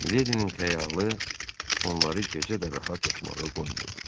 Miledinin xəyalı onları gecə də rahat yatmağa qoymurdu.